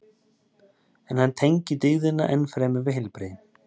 en hann tengir dygðina enn fremur við heilbrigði